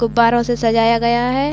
गुब्बारों से सजाया गया है।